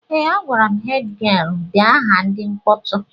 Ee, a gwara hed gịel dee aha ndị mkpọtụ